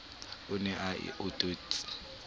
o ne a o etetse